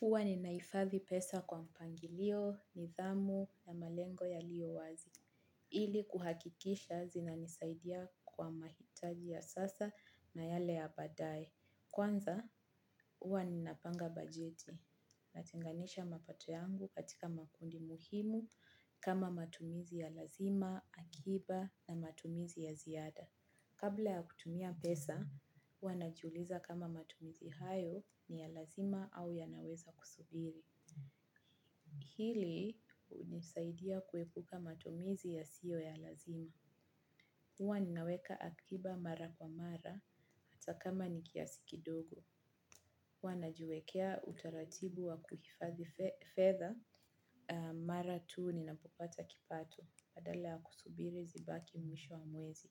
Huwa ninahifathi pesa kwa mpangilio, nidhamu, na malengo yaliyo wazi. Ili kuhakikisha zinanisaidia kwa mahitaji ya sasa na yale ya baadae. Kwanza, huwa ninapanga bajeti. Natenganisha mapato yangu katika makundi muhimu kama matumizi ya lazima, akiba na matumizi ya ziada. Kabla ya kutumia pesa, huwa najiuliza kama matumizi hayo ni ya lazima au yanaweza kusubiri. Hili hunisaidia kuepuka matumizi yasiyo ya lazima. Huwa ninaweka akiba mara kwa mara, hata kama ni kiasi kidogo. Huwa najiwekea utaratibu wa kuhifadhi fedha, mara tu ninapopata kipato, badala ya kusubiri zibaki mwisho wa mwezi.